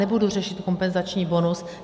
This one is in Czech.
Nebudu řešit kompenzační bonus.